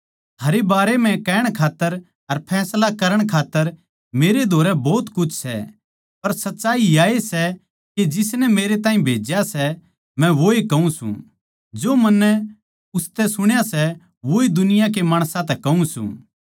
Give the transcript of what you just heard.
थारै बारै म्ह कहण खात्तर अर फैसला करण खात्तर मेरे धोरै भोत कुछ सै पर सच्चाई याए सै के जिसनै मेरे ताहीं भेज्या सै अर मै वोए कहूँ सूं जो मन्नै उसतै सुण्या सै वोए दुनिया के माणसां तै कहूँ सूं